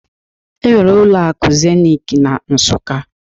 Enwere ụlọ akụ Zenit na Nsụka